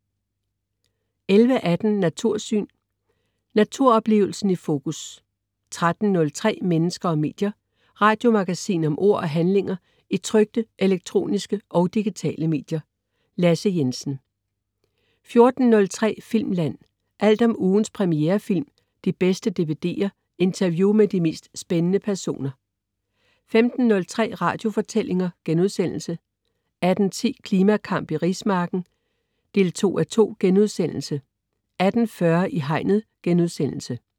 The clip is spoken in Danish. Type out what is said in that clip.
11.18 Natursyn. Naturoplevelsen i fokus 13.03 Mennesker og medier. Radiomagasin om ord og handlinger i trykte, elektroniske og digitale medier. Lasse Jensen 14.03 Filmland. Alt om ugens premierefilm, de bedste dvd'er, interview med de mest spændende personer 15.03 Radiofortællinger* 18.10 Klimakamp i rismarken 2:2* 18.40 I Hegnet*